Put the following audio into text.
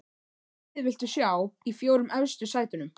Hvaða lið viltu sjá í fjórum efstu sætunum?